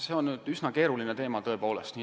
See on üsna keeruline teema, tõepoolest.